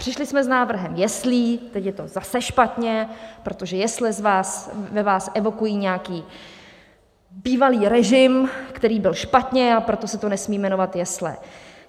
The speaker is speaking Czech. Přišli jsme s návrhem jeslí, teď je to zase špatně, protože jesle ve vás evokují nějaký bývalý režim, který byl špatně, a proto se to nesmí jmenovat jesle.